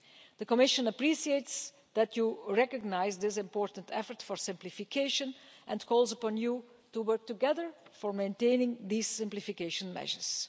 The Commission appreciates that you recognise this important effort to simplify and calls upon you to work together to maintain these simplification measures.